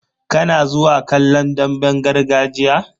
Kana zuwa kallon damben gargajiya?